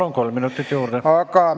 Palun, kolm minutit juurde!